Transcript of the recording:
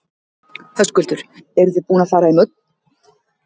Höskuldur: Eru þið búin að fara í mörg útköll?